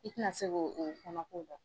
I tɛna se k'o kɔnɔko dɔn